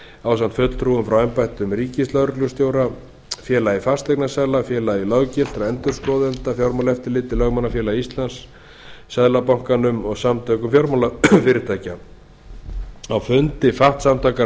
ásamt fulltrúum frá embætti ríkislögreglustjóra félagi fasteignasala félagi löggiltra endurskoðenda fjármálaeftirlitinu lögmannafélagi íslands seðlabanka íslands og samtökum fjármálafyrirtækja á fundi fatf samtakanna